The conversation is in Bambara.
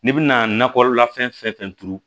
N'i bɛna nakɔla fɛn fɛn turu